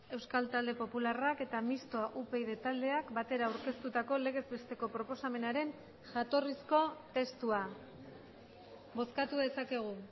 euskal talde popularrak eta mistoa upyd taldeak batera aurkeztutako legez besteko proposamenaren jatorrizko testua bozkatu dezakegu